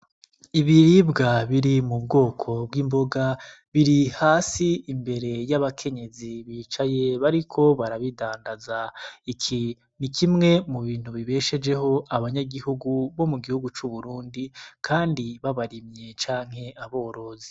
Ibiribwa biri mu bwoko bw'imboga biri hasi imbere y'abakenyezi bicaye bariko barabidandaza, iki ni kimwe mu bintu bibeshejeho abanyagihugu bo mu gihugu c'uburundi, kandi babarimye canke aborozi.